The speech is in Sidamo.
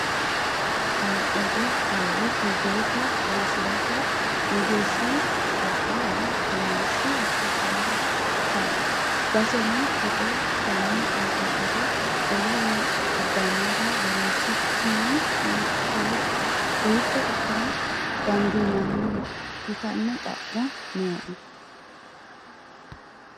Hala'lado hoowe togootta loosirate mageeshshi woxi woyi womashshi hasiisanokka ,baseno togo fane aguriro wole eo abbanore loosi'nikkini hiitto ikkine dandiinanni ytano xa'mo nooe ?